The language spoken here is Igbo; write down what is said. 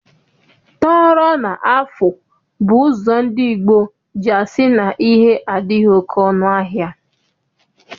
Tọrọ na afụ bụ ụzọ ndị gboo ji asị na ihe adịghị oke ọnụ ahịa.